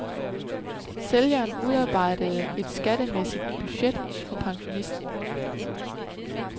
Sælgeren udarbejdede et skattemæssigt budget for pensionisten.